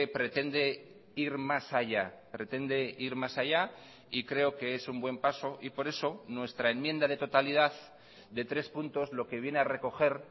pretende ir más allá pretende ir más allá y creo que es un buen paso y por eso nuestra enmienda de totalidad de tres puntos lo que viene a recoger